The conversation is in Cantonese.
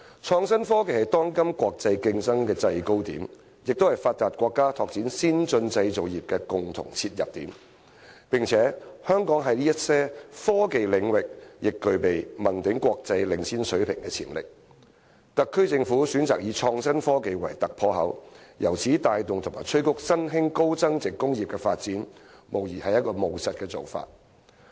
創新科技是當今國際競爭的制高點，也是發達國家拓展先進製造業的共同切入點，香港在一些科技領域具備問鼎國際領先水平的潛力，特區政府選擇以創新科技為突破口，由此帶動和催谷新興高增值工業的發展，無疑是務實的做法。